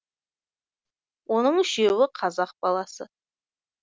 оның үшеуі қазақ баласы